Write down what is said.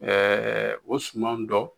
Ɛɛ o sumanw dɔ